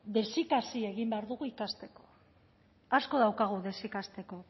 desikasi egin behar dugu ikasteko asko daukagu desikasteko